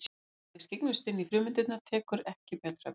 Og ef við skyggnumst inn í frumeindirnar tekur ekki betra við.